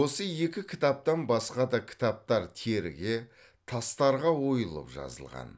осы екі кітаптан басқа да кітаптар теріге тастарға ойылып жазылған